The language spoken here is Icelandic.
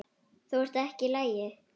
Þú ert ekki í lagi.